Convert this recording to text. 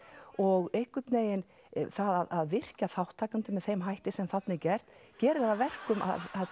og einhvern veginn það að virkja þátttakendur með þeim hætti sem þarna er gert gerir það að verkum